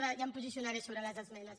ja em posicionaré sobre les esmenes